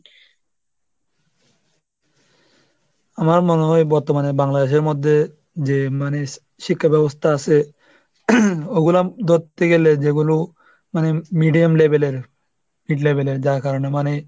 আমার মনে হয় বর্তমানে বাংলাদেশের মধ্যে যে মানে শি~ শিক্ষা ব্যবস্থা আসে, ওগুলা ধরতে গেলে যেগুলো মানে medium level এর mid level এর যার কারণে মানে,